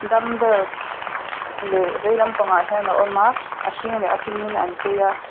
dumbbell leh veilam pangah hian a awm a a hring leh a pink in an chei a.